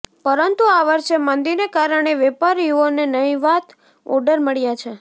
પરંતુ આ વર્ષે મંદીને કારણે વેપારીઓને નહિવાત ઑર્ડર મળ્યાં છે